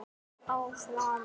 Finnur þú fyrir því sama?